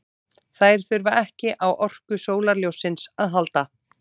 Þær þurfa ekki á orku sólarljóssins að halda.